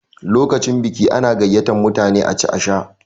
Lokacin biki ana gayyatar mutane a ci a sha.